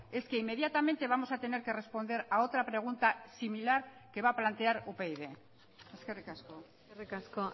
es que inmediatamente vamos a tener que responder a otra pregunta similar que va a plantear upyd eskerrik asko eskerrik asko